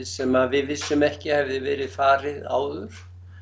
sem við vissum ekki að hefði verið farin áður